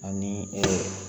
Ani